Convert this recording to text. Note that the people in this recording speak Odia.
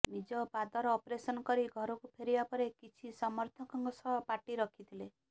ନିଜ ପାଦର ଅପରେସନ୍ କରି ଘରକୁ ଫେରିବା ପରେ କିଛି ସମର୍ଥକଙ୍କ ସହ ପାର୍ଟି ରଖିଥିଲେ